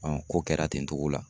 ko kɛra ten togo la.